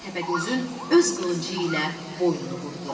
Təpəgözün öz qılıncı ilə boynunu vurdu.